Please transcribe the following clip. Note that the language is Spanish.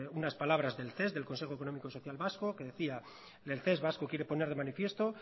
unas palabras del ces del consejo económico social vasco que decía el ces vasco quiere poner de manifiesto